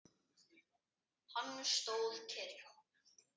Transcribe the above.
Hann stóð kyrr.